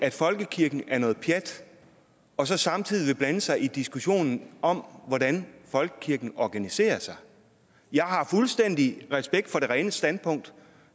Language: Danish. at folkekirken er noget pjat og så samtidig blande sig i diskussionen om hvordan folkekirken organiserer sig jeg har fuldstændig respekt for det rene standpunkt